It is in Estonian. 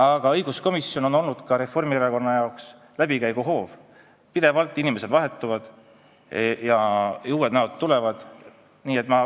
Aga õiguskomisjon on olnud Reformierakonna jaoks läbikäiguhoov, inimesed pidevalt vahetuvad ja tulevad uued näod.